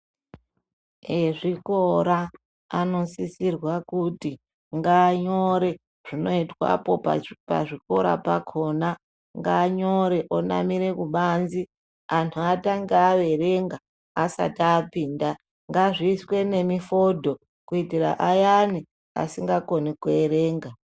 Ezvikora anosisirwa kuti nganyore zvinoitwapo pazvikora pakona nganyore onamire kubanze antu atange averenga asati apinda, ngazviiswe nemi fodho kuitira ayani asingakoni kuerenga.